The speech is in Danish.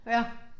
Ja